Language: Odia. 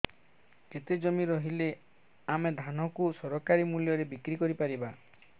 କେତେ ଜମି ରହିଲେ ଆମେ ଧାନ କୁ ସରକାରୀ ମୂଲ୍ଯରେ ବିକ୍ରି କରିପାରିବା